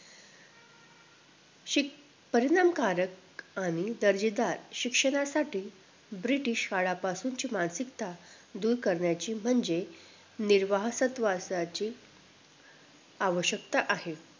शिक परिणाम कारक आणि दर्जेदार शिक्षणासाठी ब्रिटिश काळापासून ची मानसिकता दूर करण्याची म्हणजे निर्वसाहत वासाची आवशक्यता आहे